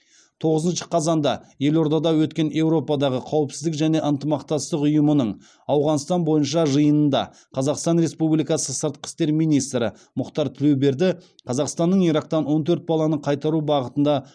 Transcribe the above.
тоғызыншы қазанда елордада өткен еуропадағы қауіпсіздік және ынтымақтастық ұйымының ауғанстан бойынша жиынында қазақстан республикасы сыртқы істер министрі мұхтар тілеуберді қазақстанның ирактан он төрт баланы қайтару бағытында